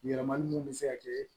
Yɛlɛmali min bɛ se ka kɛ